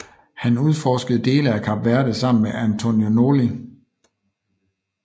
Han udforskede dele af Kap Verde sammen med António Noli